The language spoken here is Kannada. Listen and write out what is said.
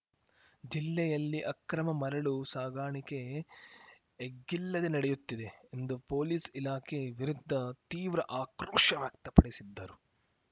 ಜಿಲ್ಲೆಯಲ್ಲಿ ಅಕ್ರಮ ಮರಳು ಸಾಗಾಣಿಕೆ ಎಗ್ಗಿಲ್ಲದೆ ನಡೆಯುತ್ತಿದೆ ಎಂದು ಪೊಲೀಸ್‌ ಇಲಾಖೆ ವಿರುದ್ಧ ತೀವ್ರ ಆಕ್ರೋಶ ವ್ಯಕ್ತಪಡಿಸಿದ್ದರು